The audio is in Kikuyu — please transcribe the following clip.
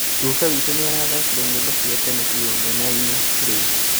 Guka witũ nĩarathakire nyĩmbo cia tene igongona-inĩ rĩu